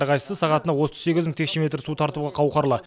әрқайсысы сағатына отыз сегіз мың текше метр су тартуға қауқарлы